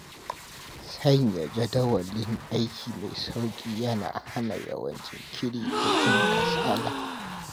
Sanya jadawalin aiki mai sauƙi yana hana yawan jinkiri da jin kasala.